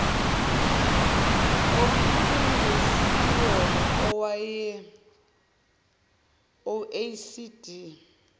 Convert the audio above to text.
okungesiwona awe oecd